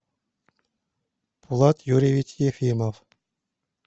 влад юрьевич ефимов